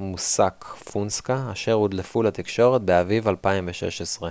מוסאק פונסקה אשר הודלפו לתקשורת באביב 2016